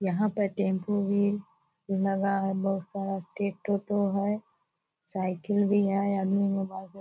यहाँ पर टेम्पू भी लगा है बहुत सारा टे टोटो है साइकिल भी है आदमी मोबाइल से --